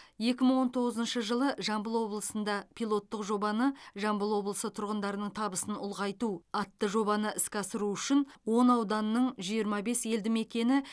екі мың он тоғызыншы жылы жамбыл облысында пилоттық жобаны жамбыл облысы тұрғындарының табысын ұлғайту атты жобаны іске асыру үшін он ауданның жиырма бес елді мекені